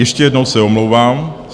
Ještě jednou se omlouvám.